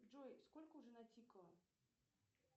джой сколько уже натикало